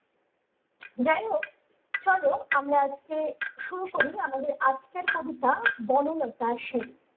যাইহোক চলো আমরা আজকে শুরু করি আমাদের আজকের কবিতা বনলতা সেন ।